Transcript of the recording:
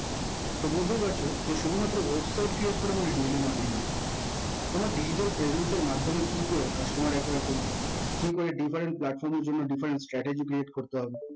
তো বুঝতেই পারছেন শুধুমাত্র website create করা মানেই digital marketing নয় তোমার digital presence এর মাধ্যমে কি করে customer acquire করবে কি করে different platform এর জন্যে different strategy create করতে হবে